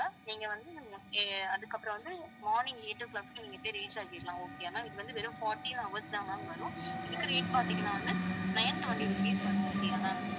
நீங்க வந்து ஆஹ் அதுக்கப்புறம் வந்து morning eight o'clock க்கு நீங்க போய் reach ஆகிறலாம் okay யா ma'am இது வந்து வெறும் fourteen hours தான் ma'am வரும் இதுக்கு rate பார்த்தீங்கன்னா வந்து nine twenty rupees வரும் okay யா ma'am